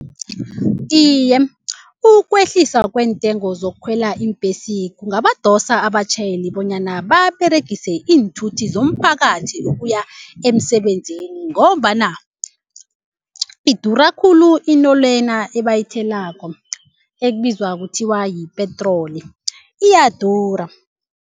Iye ukwehlisa kweentengo zokukhwela iimbhesi kungabadosa abatjhayeli bonyana baberegise iinthuthi zomphakathi ukuya emsebenzini ngombana idura khulu into lena ebayitholako ekubizwa kuthiwa yipetroli iyadura.